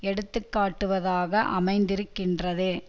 எடுத்து காட்டுவதாக அமைந்திருக்கின்றது